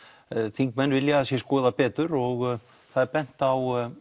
þingmenn vilja að sé skoðað betur og það er bent á